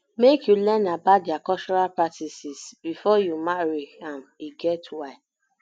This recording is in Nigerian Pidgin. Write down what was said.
make you learn about their cultural practices practices before you marry am e get why